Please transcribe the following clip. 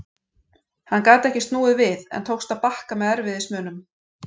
Hann gat ekki snúið við en tókst að bakka með erfiðismunum.